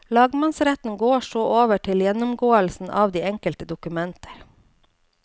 Lagmannsretten går så over til gjennomgåelsen av de enkelte dokumenter.